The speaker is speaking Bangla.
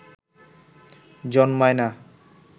জন্মায় না